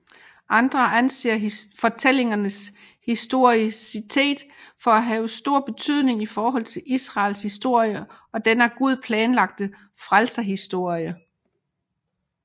Andre anser fortællingernes historicitet for at have stor betydning i forhold til Israels historie og den af Gud planlagte frelseshistorie